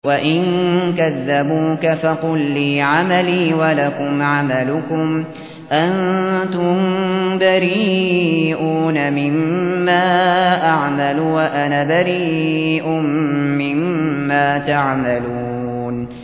وَإِن كَذَّبُوكَ فَقُل لِّي عَمَلِي وَلَكُمْ عَمَلُكُمْ ۖ أَنتُم بَرِيئُونَ مِمَّا أَعْمَلُ وَأَنَا بَرِيءٌ مِّمَّا تَعْمَلُونَ